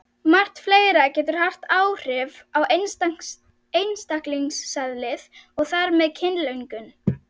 Margt fleira getur haft áhrif á einstaklingseðlið og þar með kynlöngun.